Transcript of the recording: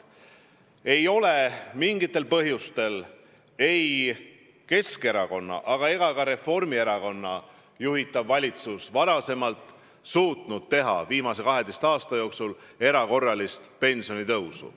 Ei ole mingitel põhjustel ei Keskerakonna ega ka Reformierakonna juhitud valitsus viimase 12 aasta jooksul suutnud teha erakorralist pensionitõusu.